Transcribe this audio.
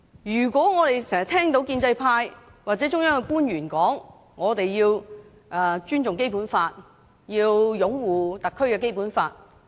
我們經常聽到建制派或中央的官員說，我們要尊重《基本法》、擁護特區的《基本法》。